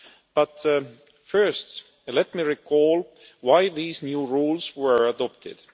But first, let me recall why these new rules were adopted.